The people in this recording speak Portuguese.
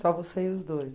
Só você e os dois?